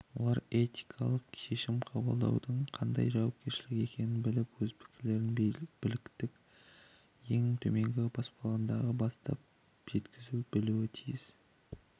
олар этикалық шешім қабылдаудың қандай жауапкершілік екенін біліп өз пікірлерін биліктің ең төменгі баспалдағынан бастап жеткізе білуі тиіс